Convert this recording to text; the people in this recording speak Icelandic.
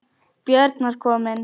Björn var kominn.